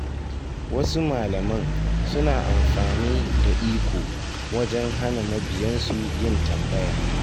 Wasu malaman suna amfani da iko wajen hana mabiyansu yin tambaya.